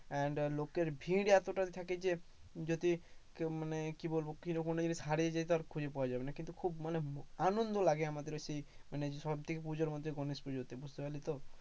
and লোকের ভিড় এতটা থাকে যে, যদি কেউ মানে কি বলবো কেউ ওখানে যদি হারিয়ে যায় খুজে পাওয়া যাবে না, কিন্তু খুব ম আনন্দ লাগে আমাদের ওই সেই সব থেকে পুজোর মধ্যে গণেশ পুজোকে, বুঝতে পারলি তো।